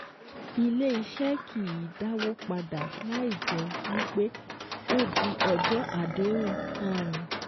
Ilé iṣẹ́ kìí dàwó padà láì jẹ́ wípé ó di ọjọ́ àdéhùn um